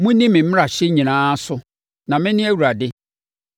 “Monni me mmarahyɛ nyinaa so na mene Awurade.